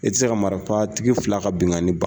E tɛ se ka marifa tigi fila ka binkani